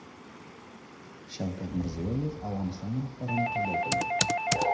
Shavkat Mirziyoyev Afg‘oniston rahbarini qabul qildi.